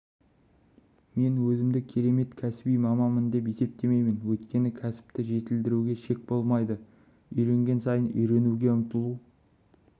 мен өзімді керемет кәсіби маманмын деп есептемеймін өйткені кәсіпті жетілдіруде шек болмайды үйренген сайын үйренуге ұмтылу